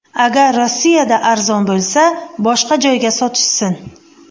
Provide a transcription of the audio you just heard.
Agar Rossiyada arzon bo‘lsa, boshqa joyga sotishsin”.